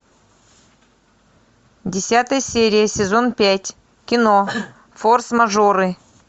десятая серия сезон пять кино форс мажоры